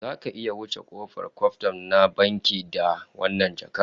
Zaka iya wuce kofar kwkwaf na bankin da wannan jakar?